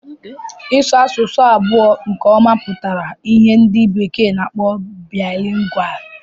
Ịsu asụsụ abụọ nke ọma pụtara ìhè ndị bekee na-akpọ Bilingual.